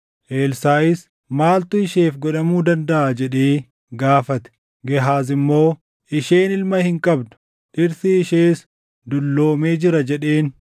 Elsaaʼis, “Maaltu isheef godhamuu dandaʼa?” jedhee gaafate. Gehaaz immoo, “Isheen ilma hin qabdu; dhirsi ishees dulloomee jira” jedheen.